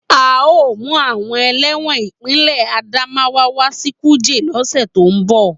A o mu awon ẹlẹ́wọ̀n ipinle Adamawa wa si kuje lose to n bo.